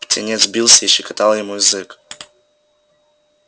птенец бился и щекотал ему язык